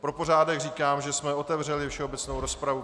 Pro pořádek říkám, že jsme otevřeli všeobecnou rozpravu.